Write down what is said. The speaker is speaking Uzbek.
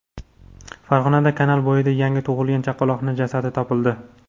Farg‘onada kanal bo‘yida yangi tug‘ilgan chaqaloqning jasadi topildi.